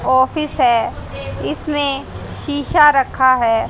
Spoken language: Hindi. ऑफिस है इसमें शिशा रखा है।